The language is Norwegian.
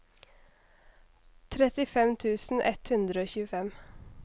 trettifem tusen ett hundre og tjuefem